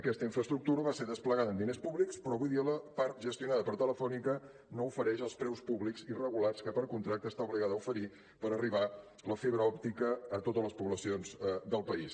aquesta infraestructura va ser desplegada amb diners públics però avui dia la part gestionada per telefónica no ofereix els preus públics i regulats que per contracte està obligada a oferir perquè arribi la fibra òptica a totes les poblacions del país